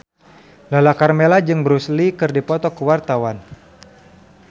Lala Karmela jeung Bruce Lee keur dipoto ku wartawan